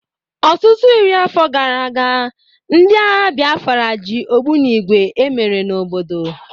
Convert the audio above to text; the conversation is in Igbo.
Ọtụtụ iri afọ gara aga, ndị agha Biafra ji ogbunigwe emere n'obodo